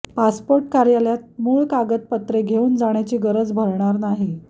passport कार्यालयात कागदपत्रे मूळ घेऊन जाण्याची गरज भारणार नाही